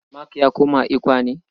Mark ya koma ECWA ne?